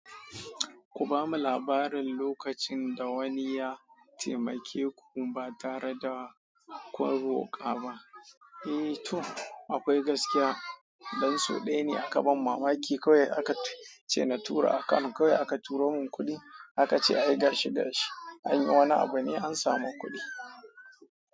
Ku bamu labarin lokacin da wani ya taimake ku ba tare da ku roƙa ba. Eh to akwai gaskiya, dan su ɗaya ne aka ban mamaki kawai aka ce na tura akano kawai aka turo mun kuɗi aka ce ayi gashi gashi ayi wani abu ne an samu kuɗi.